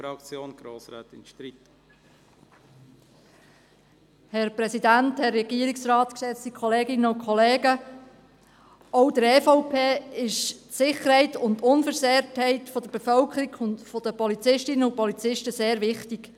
Auch der EVP ist die Sicherheit und die Unversehrtheit der Bevölkerung sowie der Polizistinnen und Polizisten sehr wichtig.